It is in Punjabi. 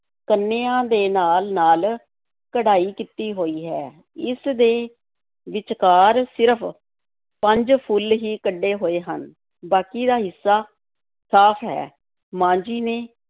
ਕੰਨੀਆਂ ਦੇ ਨਾਲ-ਨਾਲ ਕਢਾਈ ਕੀਤੀ ਹੋਈ ਹੈ, ਇਸ ਦੇ ਵਿਚਕਾਰ ਸਿਰਫ਼ ਪੰਜ ਫੁੱਲ ਹੀ ਕੱਢੇ ਹੋਏ ਹਨ, ਬਾਕੀ ਦਾ ਹਿੱਸਾ ਸਾਫ਼ ਹੈ, ਮਾਂ ਜੀ ਨੇ